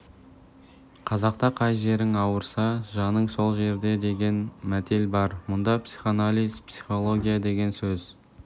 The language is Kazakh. қазақта қай жерің ауырса жаның сол жерде деген мәтел бар мұнда психоанализ психология деген сөз